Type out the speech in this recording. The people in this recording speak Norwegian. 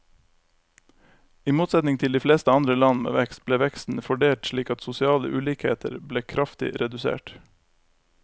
I motsetning til de fleste andre land med vekst, ble veksten fordelt slik at sosiale ulikheter ble kraftig redusert.